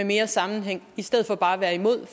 mere sammenhæng i stedet for bare at være imod